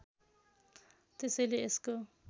त्यसैले यसको